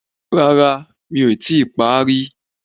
Rárá, mi ò tíì pá rí.